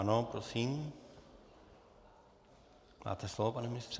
Ano, prosím, máte slovo, pane ministře.